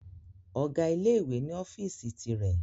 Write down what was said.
Ọ̀gá ilé ìwé ni ọ́fíìsì ti rẹ̀